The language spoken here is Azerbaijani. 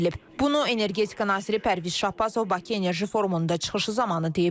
Bunu Energetika naziri Pərviz Şahbazov Bakı Enerji Forumunda çıxışı zamanı deyib.